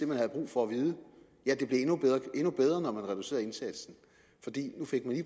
man havde brug for at vide ja det blev endnu bedre når man reducerede indsatsen